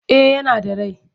Eh yana da rai.